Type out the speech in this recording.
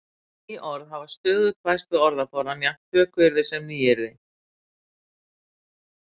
Ný orð hafa stöðugt bæst við orðaforðann, jafnt tökuorð sem nýyrði.